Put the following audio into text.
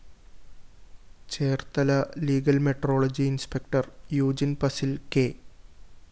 Cherthala legal metrology inspector Eugene‍ പസില്‍ K